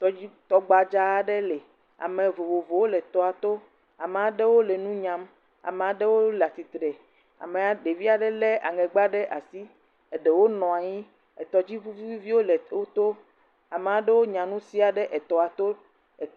Tɔgbadza aɖe le. Ame vovowo le toa to. Ame aɖewo le nu nyame, ame aɖewo le atsitre. Amea, ɖevia ɖe le aŋɛgba ɖe asi. Wonɔ anyi, etɔdziʋu vovowo le wotɔ. Ame aɖewo nya nu sĩa ɖe etɔa Togo